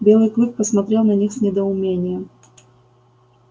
белый клык посмотрел на них с недоумением